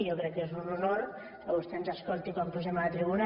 jo crec que és un honor que vostè ens escolti quan pugem a la tribuna